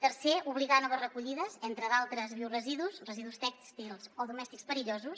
tercer obligar a noves recollides entre d’altres bioresidus residus tèxtils o domèstics perillosos